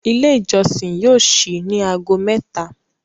Ilé ìjósìn yóò síi ní aago méta.